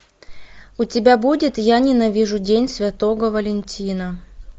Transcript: у тебя будет я ненавижу день святого валентина